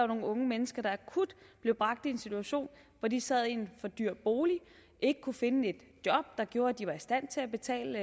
nogle unge mennesker der akut blev bragt i en situation hvor de sad i en for dyr bolig ikke kunne finde et job der gjorde at de var i stand til at betale